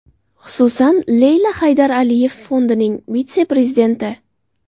Xususan, Leyla Haydar Aliyev fondining vitse-prezidenti.